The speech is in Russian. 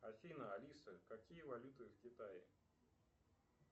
афина алиса какие валюты в китае